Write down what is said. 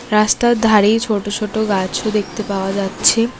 রাস্তার ধারেই ছোট ছোট গাছও দেখতে পাওয়া যাচ্ছে।